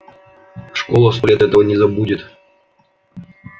школа сто лет этого не забудет